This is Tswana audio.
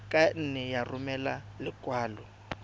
ka nne ya romela lekwalo